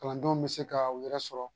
Kalandenw bɛ se ka u yɛrɛ sɔrɔ